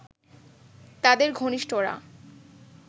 তাদের ঘনিষ্ঠরা